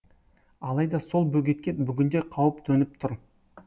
алайда сол бөгетке бүгінде қауіп төніп тұр